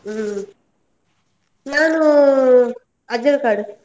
ಹ್ಮ್, ನಾನೂ Ajjarakad .